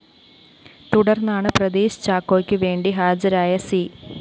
തുടര്‍ന്നാണ് പ്രദീഷ് ചാക്കോക്ക് വേണ്ടി ഹാജരായ സി